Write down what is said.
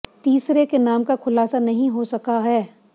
तीसरे के नाम का खुलासा नहीं हो सका है